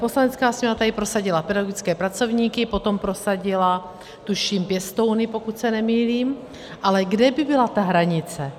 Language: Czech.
Poslanecká sněmovna tady prosadila pedagogické pracovníky, potom prosadila, tuším, pěstouny, pokud se nemýlím, ale kde by byla ta hranice?